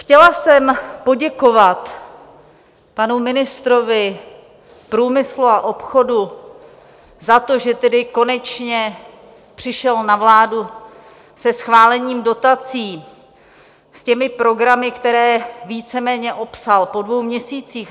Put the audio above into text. Chtěla jsem poděkovat panu ministrovi průmyslu a obchodu za to, že tedy konečně přišel na vládu se schválením dotací, s těmi programy, které víceméně opsal, po dvou měsících.